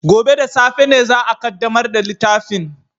Gobe ​​da safe ne za a kaddamar da littafin